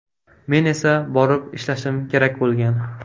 Men esa borib ishlashim kerak bo‘lgan.